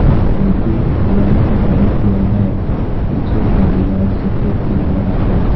आकृति भगवान का बना हुआ है पीछे का दीवार सफेद दिख रहा है।